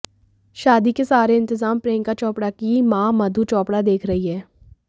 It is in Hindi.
शादी के सारे इंतजाम प्रियंका चोपड़ा की मां मधु चोपड़ा देख रही हैं